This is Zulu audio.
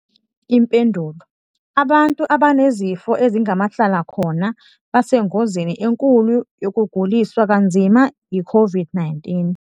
Impendulo- Abantu abanezifo ezingamahlala khona basengozini enkulu yokuguliswa kanzima yiCOVID-19.